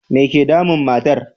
Me ke damun matar?